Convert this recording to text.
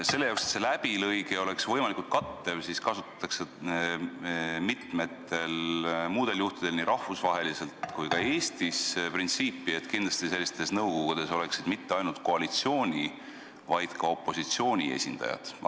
Selleks, et see läbilõige oleks võimalikult kattev, kasutatakse mitmetel muudel juhtudel – nii rahvusvaheliselt kui ka Eestis – printsiipi, et sellistes nõukogudes poleks mitte ainult koalitsiooni, vaid ka opositsiooni esindajad.